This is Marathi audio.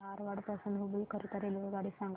धारवाड पासून हुबळी करीता रेल्वेगाडी सांगा